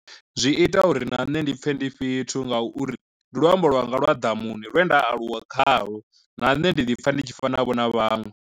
Zwi ita uri na nṋe ndi pfhe ndi fhethu nga uri ndi luambo lwanga lwa ḓamuni lwe nda aluwa khalwo na nṋe ndi ḓi pfha ndi tshi fana vho na vhaṅwe.